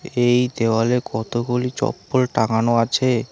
এই দেওয়ালে কতগুলি চপ্পল টাঙানো আছে।